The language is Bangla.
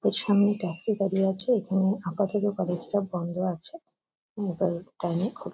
পেছনে ট্যাক্সি দাঁড়িয়ে আছে। এখানে আপাতত কলেজ -টা বন্ধ আছে। উম কারেক্ট টাইম -এ খুলে |